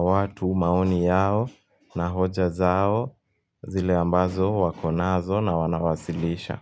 watu, maoni yao, na hoja zao zile ambazo wako nazo na wanawasilisha.